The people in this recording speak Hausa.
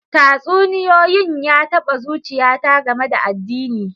Tatsuniyoyin ya taba zuchiyata game da addini.